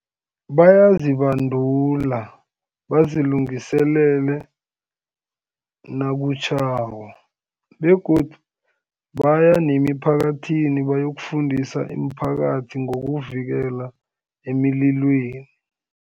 Bayazibandula, bazilungiselele nakutjhako, begodu baya nemiphakathini bayokufundisa imiphakathi ngokuvikela emililweni.